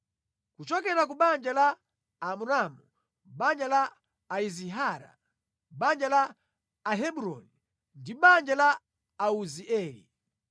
Kuchokera ku banja la Amramu, banja la Aizihara, banja la Ahebroni ndi banja la Auzieli: